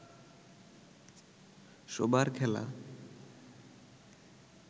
সবার খেলা